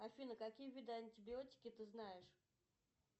афина какие виды антибиотики ты знаешь